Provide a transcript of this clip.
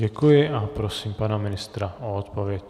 Děkuji a prosím pana ministra o odpověď.